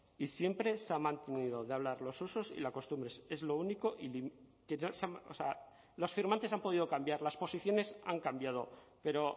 y siempre se ha mantenido de hablar los usos y costumbres es lo único o sea los firmantes han podido cambiar las posiciones han cambiado pero